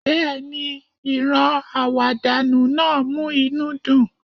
Bẹ́ẹ̀ni, ìran àwàdànu náà mú inú dùn